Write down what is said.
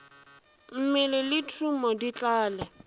mmele le thumo di tlale